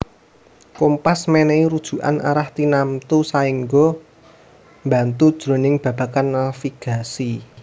Kompas mènèhi rujukan arah tinamtu saéngga mbantu jroning babagan navigasi